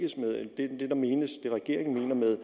regeringen mener med